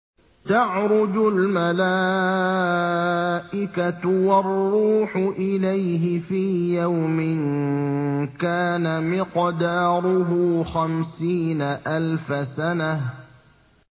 تَعْرُجُ الْمَلَائِكَةُ وَالرُّوحُ إِلَيْهِ فِي يَوْمٍ كَانَ مِقْدَارُهُ خَمْسِينَ أَلْفَ سَنَةٍ